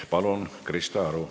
Palun, Krista Aru!